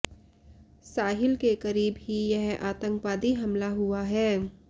साहिल के करीब ही यह आतंकवादी हमला हुआ है